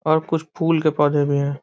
और कुछ फुल के पौधे भी हैं।